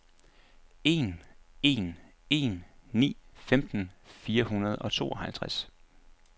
en en en ni femten fire hundrede og tooghalvfems